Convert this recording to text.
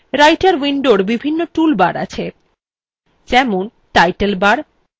writer window বিভিন্ন tool bars আছে যেমন টাইটেল bars